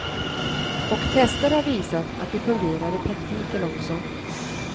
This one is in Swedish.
Och tester har visat att det fungerar i praktiken också.